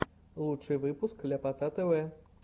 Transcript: лучший выпуск ляпота тв